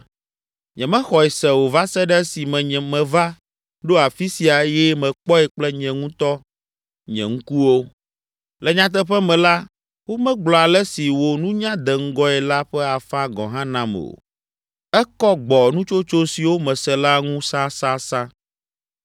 Nyemexɔe se o va se ɖe esime meva ɖo afi sia eye mekpɔe kple nye ŋutɔ nye ŋkuwo. Le nyateƒe me la, womegblɔ ale si wò nunya de ŋgɔe la ƒe afã gɔ̃ hã nam o. Ekɔ gbɔ nutsotso siwo mese la ŋu sasasa.